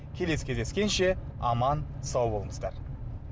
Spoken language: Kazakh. келесі кездескенше аман сау болыңыздар